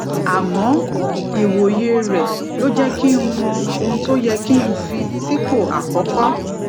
àmó iwoye re ló jé kí n mọ ohun tó yẹ kí n fi sípò àkókó